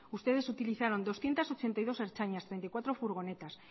ustedes utilizaron doscientos ochenta y dos ertzainas treinta y cuatro furgonetas